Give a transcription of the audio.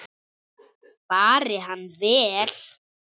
Fari hann vel.